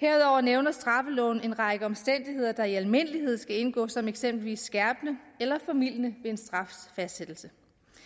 herudover nævner straffeloven en række omstændigheder der i almindelighed skal indgå som eksempelvis skærpende eller formildende omstændigheder en strafs fastsættelse